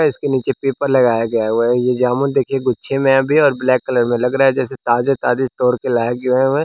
इसके नीचे पेपर लगाया गया हुआ है ये जामुन देखिए गुच्छे में है भी और ब्लैक कलर में लग रहा है जैसे ताजा ताजा तोड़ के लाया हुआ है।